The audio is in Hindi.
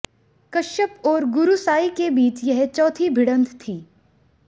कश्यप और गुरूसाई के बीच यह चौथी भिडंत थी